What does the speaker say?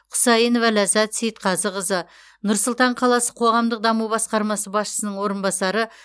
құсайынова ләззат сейітқазықызы нұр сұлтан қаласы қоғамдық даму басқармасы басшысының орынбасары